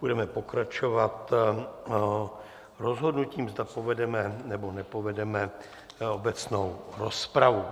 Budeme pokračovat rozhodnutím, zda povedeme, nebo nepovedeme obecnou rozpravu.